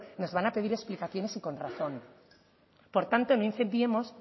nos van a pedir explicaciones y con razón por tanto no incendiemos